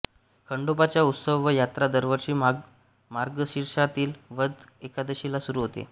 खंडोबाचा उत्सव व यात्रा दरवर्षी मार्गशीर्षातील वद्य एकादशीला सुरू होते